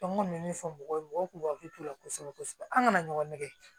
An kɔni bɛ min fɔ mɔgɔw ye mɔgɔw k'u hakili to o la kosɛbɛ kosɛbɛ an kana ɲɔgɔn nɛgɛ